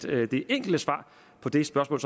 er det enkle svar på det spørgsmål